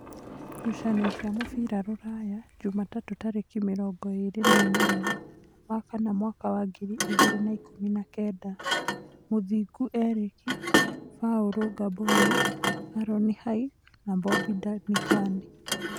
Ngucanio cia mũbira Rūraya Jumatatũ tarĩki mĩrongo ĩrĩ na inyanya wa kanana mwaka wa ngiri igĩrĩ na ikũmi na kenda: Mũthingu Erĩki, Baũru Ngamboni, Aroni Hike na Mbobi Danikani.